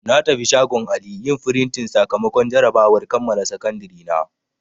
Na tafi shagon Ali yin frintin sakamakon jarabawar kammala Sakandiri na.